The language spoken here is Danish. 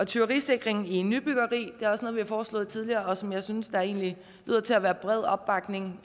tyverisikring i nybyggeri er også noget vi har foreslået tidligere og som jeg synes der egentlig lyder til at være bred opbakning